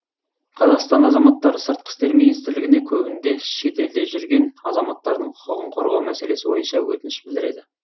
қазақстан азаматтары сыртқы істер министрлігіне көбінде шетелде жүрген азаматтардың құқығын қорғау мәселесі бойынша өтініш білдіреді